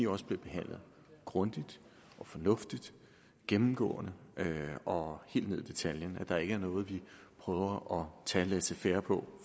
også bliver behandlet grundigt og fornuftigt gennemgribende og helt ned i detaljen så der ikke er noget vi prøver at tage laissez faire på